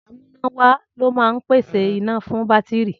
Amúnáwá ló máa ń pèsè iná fún bátìrì.